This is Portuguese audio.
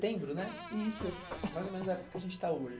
né? Isso. Mais ou menos a época que a gente está hoje.